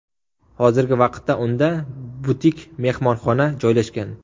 Hozirgi vaqtda unda butik-mehmonxona joylashgan.